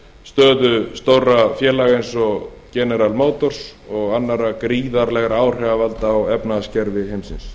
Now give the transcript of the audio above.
stöðu stórra félaga eins og general motors ég annarra gríðarlegra áhrifavalda á efnahagskerfi heimsins